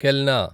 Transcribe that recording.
కెల్నా